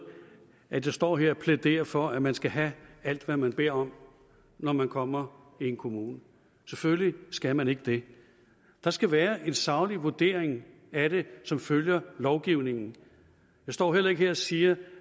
at jeg står her og plæderer for at man skal have alt hvad man beder om når man kommer i en kommune selvfølgelig skal man ikke det der skal være en saglig vurdering af det som følger lovgivningen jeg står heller ikke her og siger